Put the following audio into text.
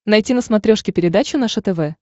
найти на смотрешке передачу наше тв